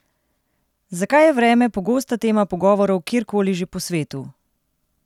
Zakaj je vreme pogosta tema pogovorov kjerkoli že po svetu?